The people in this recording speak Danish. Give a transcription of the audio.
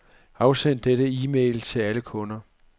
Afsend denne e-mail til alle kunder.